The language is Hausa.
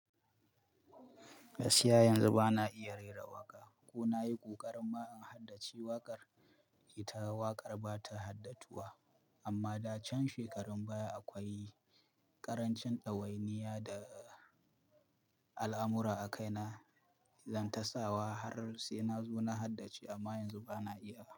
Gaskiya yanzu ba na iya rera waƙa ko na yi ƙoƙari ma in haddace waƙar ita waƙar ba ta haddatuwa. Amma da can shekarun baya akwai ƙarancin ɗawainiya da al'amura a kaina, zan tasawa har sai na zo na haddace amma yanzu ba na iyawa.